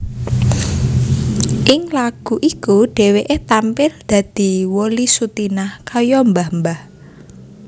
Ing lagu iku dhéwéké tampil dadi Wolly Sutinah kaya mbah mbah